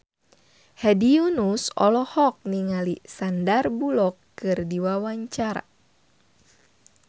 Hedi Yunus olohok ningali Sandar Bullock keur diwawancara